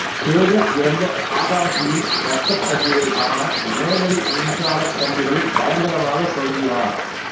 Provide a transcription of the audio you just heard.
சேகர் இறந்த ஆகாஷியின் ரத்தக் கசிவைக் காண நேரடி மின்சாரக் கம்பிகளில் பயங்கரமாகத் தொங்கி ரா